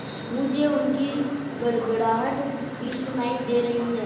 मुझे उनकी गड़गड़ाहट भी सुनाई दे रही है